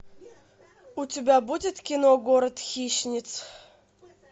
у тебя будет кино город хищниц